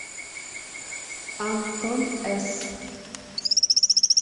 антон эс